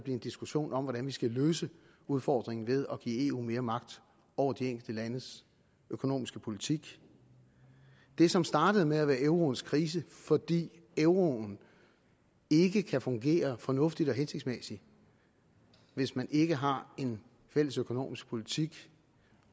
en diskussion om hvordan vi skal løse udfordringen ved at give eu mere magt over de enkelte landes økonomiske politik det som startede med at være euroens krise fordi euroen ikke kan fungere fornuftigt og hensigtsmæssigt hvis man ikke har en fælles økonomisk politik